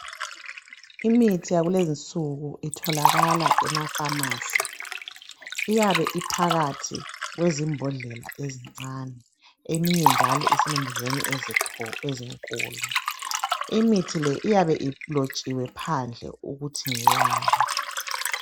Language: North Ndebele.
Imithi yakulezinsuku itholakala ema pharmacy. Iyabe iphakathi kwezimbodlela ezincane. Eminye njalo isembodleleni ezinkulu. Imithi le iyabe ilotshiwe phandle ukuthi ngeyani.